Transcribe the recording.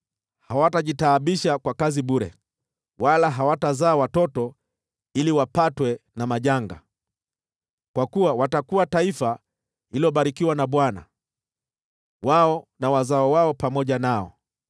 Hawatajitaabisha kwa kazi bure, wala hawatazaa watoto ili wapatwe na majanga, kwa kuwa watakuwa taifa lililobarikiwa na Bwana , wao na wazao wao pamoja nao.